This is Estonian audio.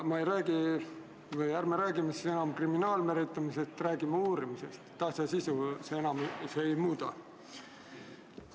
Ärme räägime siin enam kriminaalmenetlusest, räägime uurimisest – asja sisu see enam ei muuda.